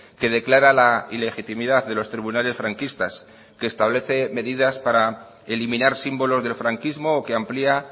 que declara la ilegitimidad de los tribunales franquistas que establece medidas para eliminar símbolos del franquismo o que amplía